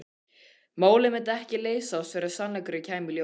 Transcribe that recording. Málið myndi ekki leysast fyrr en sannleikurinn kæmi í ljós.